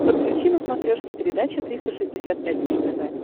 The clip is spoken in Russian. подключи на смотрешке передачу триста шестьдесят пять дней тв